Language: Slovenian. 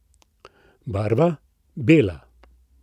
Barva: "Bela.